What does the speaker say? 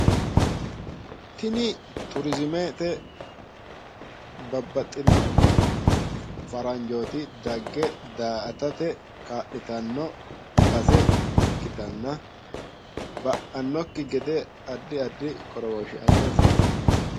tini turiizimete babbaxxino faranjooti dagge da'aatate kaa'litanno base ikkitanna ba'aannokki gede addi addi qorowoshshe assa hasiisanno.